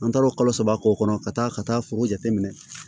An taar'o kalo saba k'o kɔnɔ ka taa ka taa foro jate minɛ